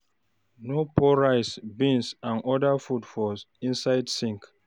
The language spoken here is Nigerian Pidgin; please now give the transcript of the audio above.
No pour rice, beans and oda food for inside sink